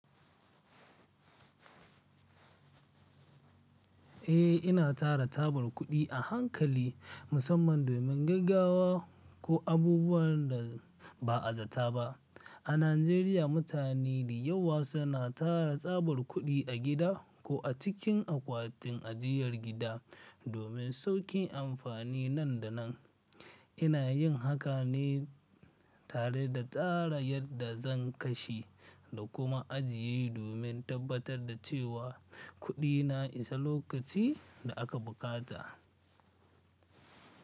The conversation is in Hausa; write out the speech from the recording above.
Eh, ina tara tabar kuɗi a hankali musamman domin gaggawa ko abubuwan da ba a zata ba. A Najeriya, mutane da yawa suna tara tsabar kuɗi a gida ko a cikin akwatin ajiyar gida domin sauƙin amfani nan da nan. Ina yin haka ne tare da tsara yadda zan kashe da kuma ajiye domin tabbatar da cewa kuɗina isa lokacin da aka bukata.